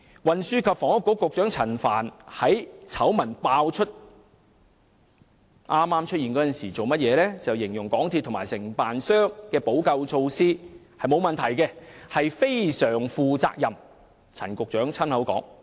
運輸及房屋局局長陳帆在醜聞爆出之初，形容港鐵公司和承建商的補救措施是"非常負責任"，並無問題，這是陳局長親口說的。